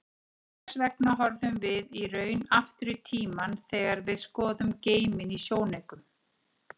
Hvers vegna horfum við í raun aftur í tímann þegar við skoðum geiminn í sjónaukum?